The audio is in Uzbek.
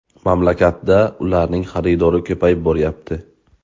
Mamlakatda ularning xaridori ko‘payib boryapti.